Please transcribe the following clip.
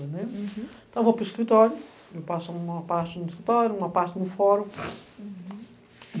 né? Uhum. Então, eu vou para o escritório, eu passo uma parte no escritório, uma parte no fórum. Uhum